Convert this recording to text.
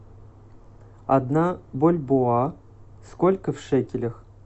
одна бальбоа сколько в шекелях